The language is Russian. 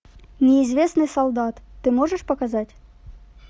неизвестный солдат ты можешь показать